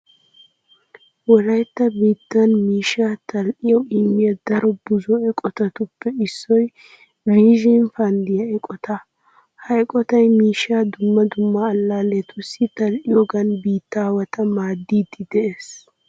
Wolaytta biittan miishshaa tal"iyawu immiya daro buzo eqotatuppe issoy viizhin fanddiya eqotaa. Ha eqotay miishshaa dumma dumma allaalletussi tal"iyogan biittaawata maaddiidi de'ees.